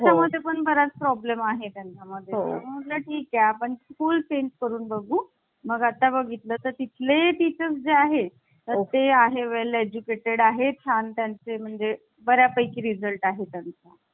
तर ते मुन्शी, सईद अहमद , के. मुन्शी आणि सईद अहमद दोन मुस्लिम सदस्य होते. त्यानंतर गोपालस्वामी अयंगार आणि अल्लादि कृष्ण स्वामी अय्यर हे South indian सदस्य होते.